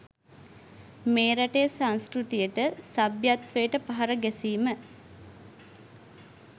මේ රටේ සංස්කෘතියට සභ්‍යත්වයට පහර ගැසීම